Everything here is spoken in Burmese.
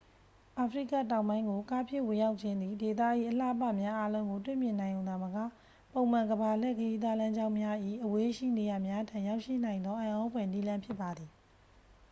အာဖရိကတောင်ပိုင်းကို ကားဖြင့်ဝင်ရောက်ခြင်းသည် ဒေသ၏အလှအပများအားလုံးကို တွေ့မြင်နိုင်ရုံသာမက ပုံမှန် ကမ္ဘာလှည့်ခရီးသွားလမ်းကြောင်းများ၏ အဝေးရှိနေရာများထံ ရောက်ရှိနိုင်သော အံ့သြဖွယ်နည်းလမ်းဖြစ်ပါသည်